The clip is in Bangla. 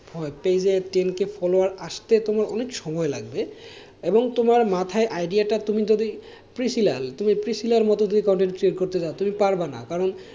Page এ তোমার ten k follower আসতে তোমার অনেক সময় লাগবে এবং তোমার মাথায় idea টা তুমি যদি মতো যদি করতে চাও তুমি পারবা না, কারণ,